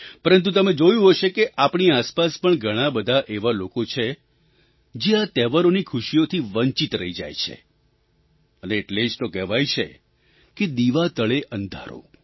પરંતુ તમે જોયું હશે કે આપણી આસપાસ પણ ઘણાં બધા એવા લોકો છે જે આ તહેવારોની ખુશીઓથી વંચિત રહી જાય છે અને એટલે જ તો કહેવાય છે કે દીવા તળે અંધારું